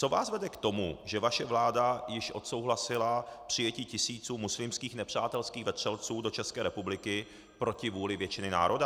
Co vás vede k tomu, že vaše vláda již odsouhlasila přijetí tisíců muslimských nepřátelských vetřelců do České republiky proti vůli většiny národa?